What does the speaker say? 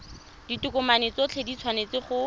ditokomane tsotlhe di tshwanetse go